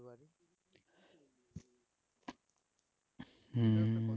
হম